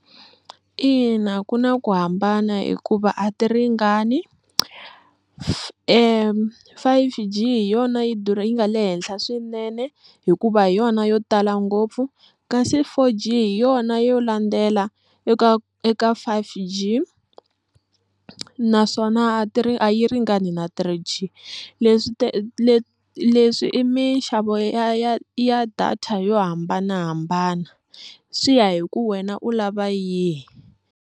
Ina ku na ku hambana hikuva a ti ringani five G hi yona yi durha yi nga le henhla swinene hikuva hi yona yo tala ngopfu kasi four G hi yona yo landzela eka eka five G naswona a ti ri a yi ringani na three G leswi leswi i minxavo ya ya ya data yo hambanahambana swi ya hi ku wena u lava yini.